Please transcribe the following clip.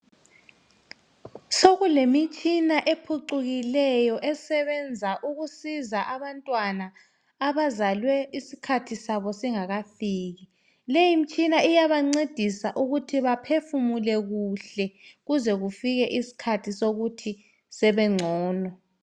Sokulemitshina ephucukileyo eyokusiza abantwana abazelwe isikhathi sabo singakafiki. Le imitshina iyabasiza ukuthi baphefumule kuhle baze babengcono.